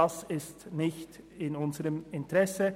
Das liegt nicht in unserem Interesse.